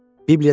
Soruşdu.